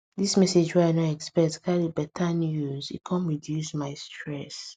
this message wey i no expect carry better news e come reduce my stress